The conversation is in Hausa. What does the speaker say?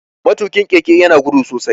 Matukin keke ya na gudu sosai.